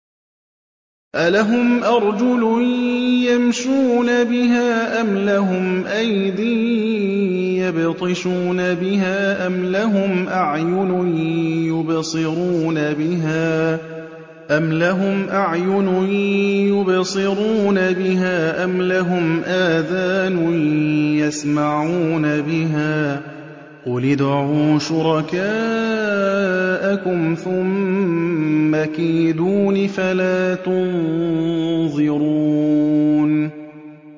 أَلَهُمْ أَرْجُلٌ يَمْشُونَ بِهَا ۖ أَمْ لَهُمْ أَيْدٍ يَبْطِشُونَ بِهَا ۖ أَمْ لَهُمْ أَعْيُنٌ يُبْصِرُونَ بِهَا ۖ أَمْ لَهُمْ آذَانٌ يَسْمَعُونَ بِهَا ۗ قُلِ ادْعُوا شُرَكَاءَكُمْ ثُمَّ كِيدُونِ فَلَا تُنظِرُونِ